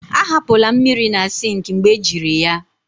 ahapụla mmiri na sink mgbe ejiri ya